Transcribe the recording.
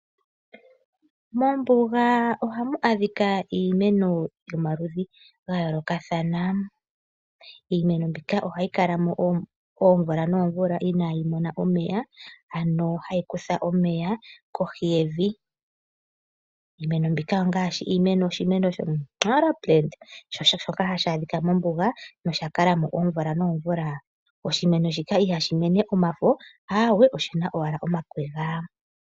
Mombuga oha mu adhika iimeno yomaludhi gayoolokathana, iimeno mbika oha yi kalamo oomvula noomvula ina yi mona omeya, ano oha yi kutha omeya kohi yevi. Iimeno mbika ongaashi oshimeno sho !Nara shoka ha shi adhikwa mombuga nosha kalamo oomvula noomvula. Oshimeno shika i ha shi mene omafo, aawo oshina owala omakwega.